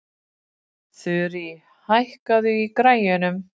Þurí, hækkaðu í græjunum.